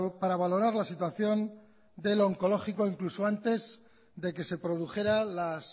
para valorar la situación del oncológico incluso antes de que se produjera las